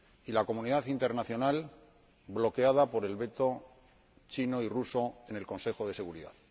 y la comunidad internacional bloqueada por el veto chino y el ruso en el Consejo de Seguridad.